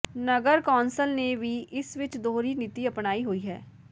ਨਗਰ council ਨੇ ਵੀ ਇਸ ਵਿਚ ਦੋਹਰੀ ਨੀਤੀ ਅਪਣਾਈ ਹੋਈ ਹੈ